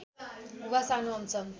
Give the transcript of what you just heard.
वा सानो अंश